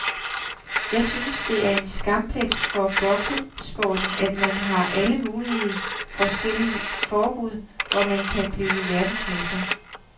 Jeg synes det er en skamplet for boksesporten, at man har alle mulige forskellige forbund, hvor man kan blive verdensmester.